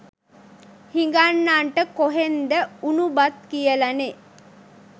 හිඟන්නන්ට කොහෙන්ද උණු බත් කියලනේ.